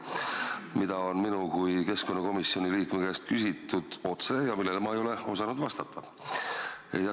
Seda on minu kui keskkonnakomisjoni liikme käest otse küsitud ja ma ei ole osanud vastata.